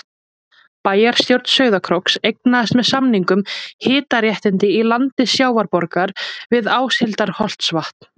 Bæjarstjórn Sauðárkróks eignaðist með samningum hitaréttindi í landi Sjávarborgar við Áshildarholtsvatn.